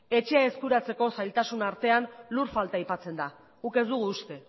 etxea eskuratzeko zailtasunen artean lur falta aipatzen da guk ez dugu uste